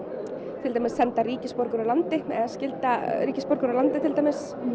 til dæmis senda ríkisborgara úr landi eða skylda ríkisborgara úr landi til dæmis